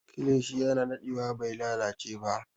Kilishi yana dadewa bai lalace ba